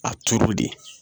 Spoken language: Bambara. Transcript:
A toro de